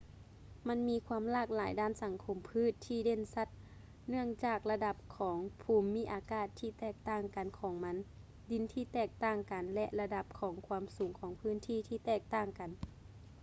ມັນມີຄວາມຫຼາກຫຼາຍດ້ານສັງຄົມພືດທີ່ເດັ່ນຊັດ ເນື່ອງຈາກລະດັບຂອງພູມມິອາກາດທີ່ແຕກຕ່າງກັນຂອງມັນ ດິນທີ່ແຕກຕ່າງກັນ ແລະ ລະດັບຂອງຄວາມສູງຂອງພື້ນທີ່ທີ່ແຕກຕ່າງກັນ